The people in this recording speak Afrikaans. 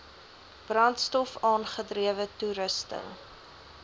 brandstof aangedrewe toerusting